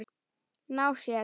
Ná sér?